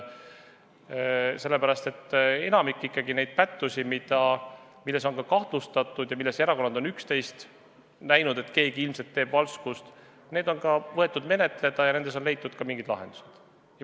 Enamik pättusi, milles on erakondi kahtlustatud ja mille puhul erakonnad on arvanud, et keegi ilmselt teeb valskust, on võetud menetleda ja on leitud ka mingid lahendused.